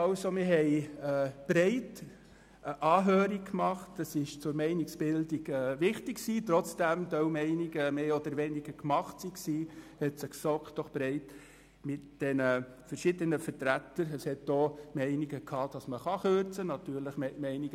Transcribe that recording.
Wir führten eine breite Anhörung durch, was für die Meinungsbildung wichtig war, obwohl einige Meinungen bereits mehr oder weniger gemacht waren.